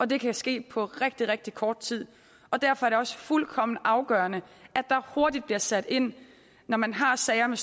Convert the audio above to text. det kan ske på rigtig rigtig kort tid derfor er det også fuldkommen afgørende at der hurtigt bliver sat ind når man har sager